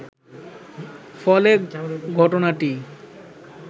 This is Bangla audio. ফলে ঘটনাটি